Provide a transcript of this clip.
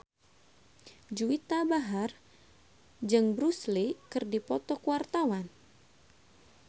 Juwita Bahar jeung Bruce Lee keur dipoto ku wartawan